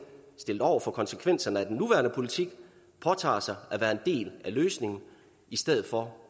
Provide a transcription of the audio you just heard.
stillet over for konsekvenserne af den nuværende politik påtager sig at være en del af løsningen i stedet for